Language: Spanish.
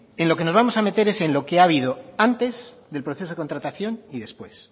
en lo que nos vamos a meter es en lo que ha habido antes del proceso de contratación y después